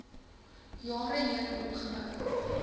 jare heen opgebou